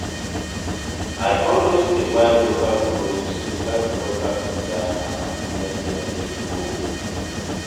I always dey buy local clothes to help local designers and make them fit grow.